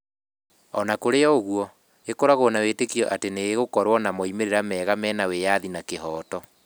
O na kũrĩ ũguo, ĩkoragwo na wĩtĩkio atĩ nĩ ĩgũkorũo na moimĩrĩro mega mena wĩyathi na kĩhooto.